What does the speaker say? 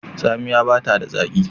Tsamiya bata da zaki.